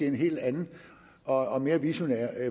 en helt anden og mere visionær